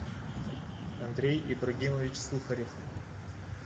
андрей ибрагимович сухарев